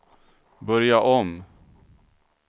börja om